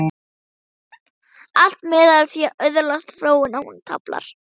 Allt miðar að því að öðlast fróun, án tafar.